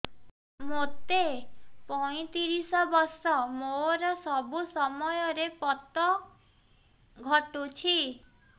ମୋତେ ପଇଂତିରିଶ ବର୍ଷ ମୋର ସବୁ ସମୟରେ ପତ ଘଟୁଛି